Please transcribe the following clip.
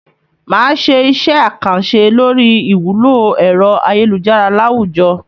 Màá ṣe iṣẹ́ àkànṣe lórí ìwúlò ẹ̀rọ ayélujára láwùjọ.